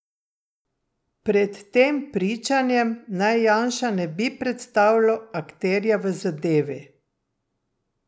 Pred tem pričanjem naj Janša ne bi predstavljal akterja v zadevi.